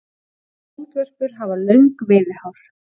Moldvörpur hafa löng veiðihár.